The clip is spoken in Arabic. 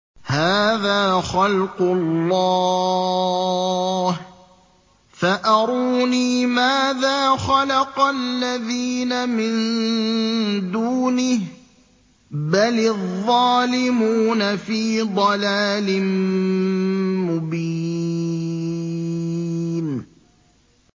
هَٰذَا خَلْقُ اللَّهِ فَأَرُونِي مَاذَا خَلَقَ الَّذِينَ مِن دُونِهِ ۚ بَلِ الظَّالِمُونَ فِي ضَلَالٍ مُّبِينٍ